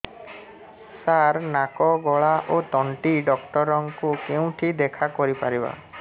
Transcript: ସାର ନାକ ଗଳା ଓ ତଣ୍ଟି ଡକ୍ଟର ଙ୍କୁ କେଉଁଠି ଦେଖା କରିପାରିବା